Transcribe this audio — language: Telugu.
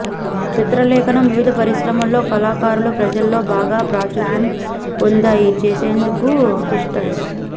చిత్రలేఖనం వివిధ పరిశ్రమల్లో కళాకారులు ప్రజల్లో బాగా ప్రాచుర్యం పొందాయి చేసేందుకు పిస్టల్స్